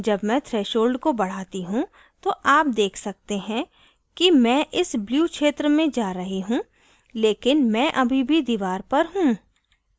जब मैं threshold को बढ़ाती हूँ तो आप देख सकते हैं कि मैं इस blue क्षेत्र में जा रही हूँ लेकिन मैं अभी भी दीवार पर हूँ